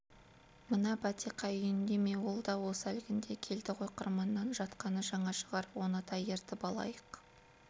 мына бәтиқа үйінде ме ол да осы әлгінде келді ғой қырманнан жатқаны жаңа шығар оны да ертіп алайық